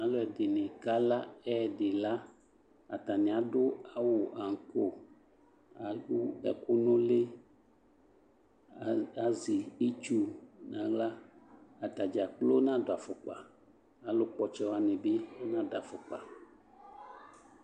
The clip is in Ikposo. Alu ɛdini kala ɛdila atani adu aŋko kadu ɛkunu uli azɛ itsu nu aɣla atadza kplo nadu afʊkpa alu kpɔ ɔtsɛwani bi nadu afʊkpa